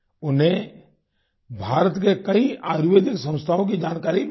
उन्हें भारत के कई आयुर्वेदिक संस्थाओं की जानकारी भी है